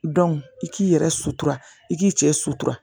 i k'i yɛrɛ sutura i k'i cɛ sutura